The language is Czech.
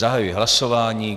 Zahajuji hlasování.